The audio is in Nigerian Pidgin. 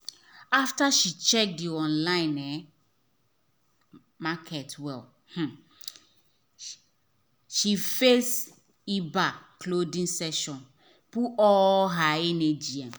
after she check the online um market well um she face ebay clothing section put all her energy. um